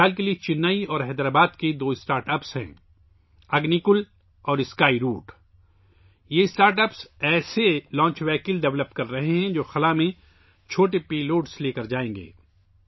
مثال کے طور پر، چنئی اور حیدرآباد میں دو اسٹارٹ اپس ہیں اگنی کول اور اسکائی روٹ! یہ اسٹارٹ اپس ایسی لانچ گاڑیاں تیار کررہے ہیں جو چھوٹے پے لوڈ کو خلا میں لے جائیں گی